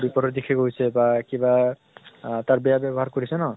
বিপৰীত দিশে গৈছে বা কিবা তাৰ বেয়া ব্য়ৱ্হাৰ কৰিছে ন